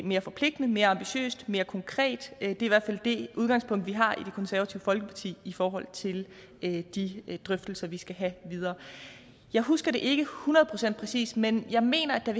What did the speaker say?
mere forpligtende mere ambitiøst mere konkret det er i hvert fald det udgangspunkt vi har i det konservative folkeparti i forhold til de drøftelser vi skal have videre jeg husker det ikke hundrede procent præcist men jeg mener at der